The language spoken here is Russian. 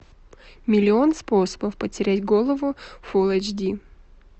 миллион способов потерять голову фул эйч ди